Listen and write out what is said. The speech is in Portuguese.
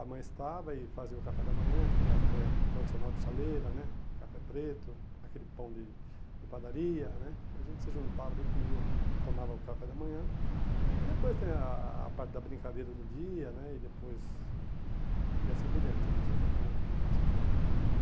a mãe estava e fazia o café da manhã, aquele café tradicional de chaleira né, café preto, aquele pão de de padaria né, e a gente se juntava ali comia, tomava o café da manhã, e depois tem a a a parte da brincadeira do dia né, e depois... e assim por diante, a gente ia tocando vidinha dessa forma.